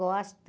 Gosto.